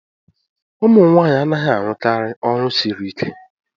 ụmụ nwanyị anaghị arụkarị ọrụ siri ike